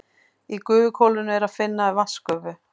Í gufuhvolfinu er að finna vatnsgufu.